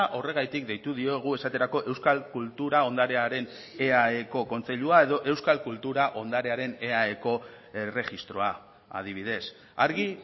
horregatik deitu diogu esaterako euskal kultura ondarearen eaeko kontseilua edo euskal kultura ondarearen eaeko erregistroa adibidez argi